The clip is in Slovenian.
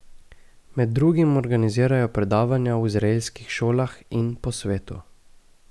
Med drugim organizirajo predavanja v izraelskih šolah in po svetu.